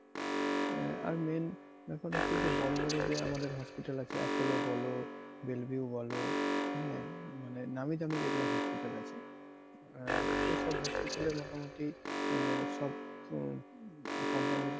আহ আর main ব্যাপার হচ্ছে যে বড় বড় যে আমাদের hospital আছে Apollo বলো Belview বলো হ্যাঁ মানে নামি দামি যেগুলো hospital আছে। আহ সে সব hospital এ মোটামোটি আহ সব company র